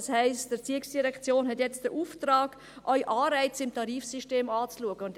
Das heisst, die ERZ hat jetzt den Auftrag, im Tarifsystem auch Anreize anzuschauen.